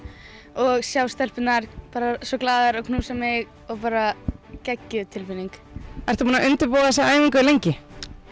og sjá stelpurnar svo glaðar og knúsa mig og bara geggjuð tilfinning varstu búin að undirbúa þessa æfingu lengi